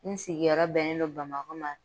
N sigiyɔrɔ bɛnnen dɔ Bamakɔ ma